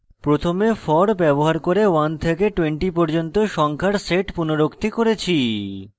প্রথমে for ব্যবহার করে 1 থেকে 20 পর্যন্ত সংখ্যার set পুনরুক্তি করেছি